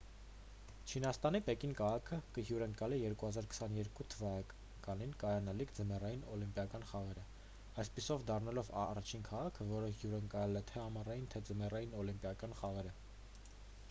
չինաստանի պեկին քաղաքը կհյուրընկալի 2022 թվականին կայանալիք ձմեռային օլիմպիական խաղերը` այդպիսով դառնալով առաջին քաղաքը որը հյուրընկալել է թե՛ ամառային թե ՛ ձմեռային օլիմպիական խաղերը: